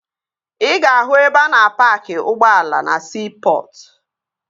Ị ga-ahụ ebe a na-paaki ụgbọ ala na siipọtụ